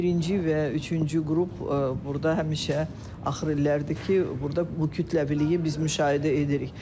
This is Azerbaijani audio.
Birinci və üçüncü qrup burda həmişə axır illərdir ki, burda bu kütləviliyi biz müşahidə edirik.